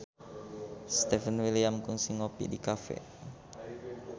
Stefan William kungsi ngopi di cafe